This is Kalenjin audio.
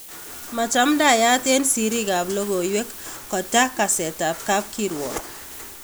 Machamdaiyat en siriik ap logoiywek kotaa kasetap kapkirwok